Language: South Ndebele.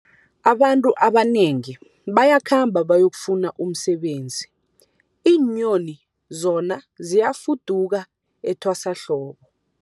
Abantu abanengi bayakhamba bayokufuna umsebenzi, iinyoni zona ziyafuduka etwasahlobo.